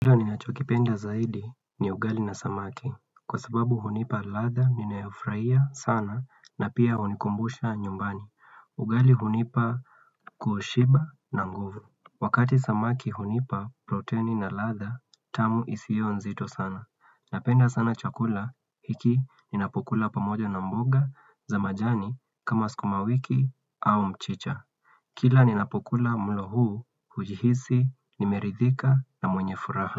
Ninachokipenda zaidi ni ugali na samaki kwa sababu hunipa ladha ninayofurahia sana na pia hunikumbusha nyumbani. Ugali hunipa kushiba na nguvu. Wakati samaki hunipa protein na ladha tamu isio nzito sana. Napenda sana chakula hiki ninapokula pamoja na mboga za majani kama skumawiki au mchicha. Kila ninapukula mlo huu hujihisi nimeridhika na mwenye furaha.